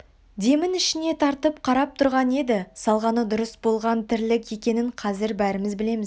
демін ішіне тартып қарап тұрған еді салғаны дұрыс болған тірлік екенін қазір бәріміз білеміз